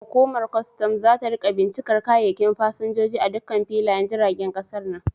Hukumar kwastam zata rika bincikar kayayyakin fasinjoji a dukkan filayen jiragen kasar nan.